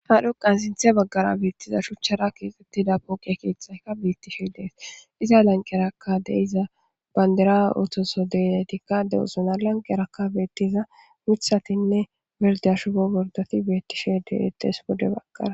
Hadhoqan sinthe baggara beettiza shuchchara keexxettida pooqe keeththayka beettishe dees iza lanqerakka deiza bandira ootoso denetikka de'osona lanqerakka beettiza mithatinne berdiya shugo bordati bettishe deetees wode baggara.